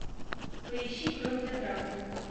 поищи кровь для дракулы